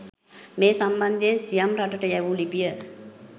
මේ සම්බන්ධයෙන් සියම් රටට යැවූ ලිපිය